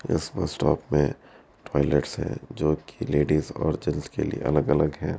इस bus stop में toilets है जो कि लेडीज और जैंट्स के लिए अलग-अलग है।